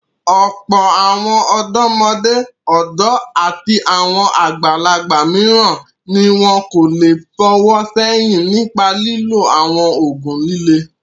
Ọ̀pọ̀ àwọn ọ̀dọ́mọdé, ọ̀dọ́ àti àwọn àgbàlagbà mìíràn ni wọn kò le fọwọ́ sẹ́yìn nípa lílo àwọn òògùn líle.